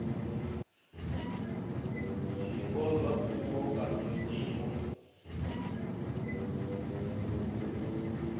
zwiko zwa pfulo kana zwiḽiwa